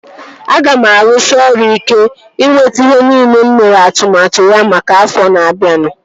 Aga m arụsị ọrụ ike ịnweta ihe nile mụ mere atụmatụ maka ya afọ na-abianu